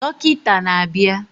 Dọkịta na-abịa